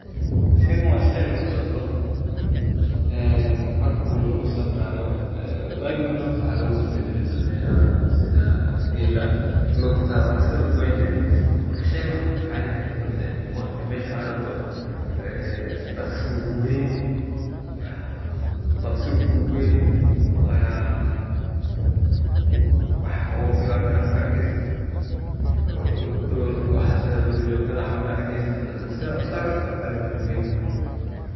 Shaygan waa shay lagu safro ee marki lagu safrayo ee waagi hore horta waxaa lagu safri jire dameraha sida geela lugta waa la iska lugeyn jire marka sheygan waxuu ku ficanyhay waqti mesha aad rabto ee dhaqsi buu ku geyni waana wax oo dhibaata maka arkeysid oo waxa sida duur jogtada camal ma arkeysid sidaad u saaranta kabta rabta u ku geyni.